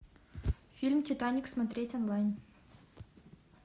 фильм титаник смотреть онлайн